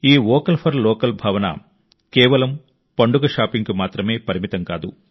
ఈ vocal for local భావన కేవలం పండుగ షాపింగ్కి మాత్రమే పరిమితం కాదు